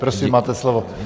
Prosím, máte slovo.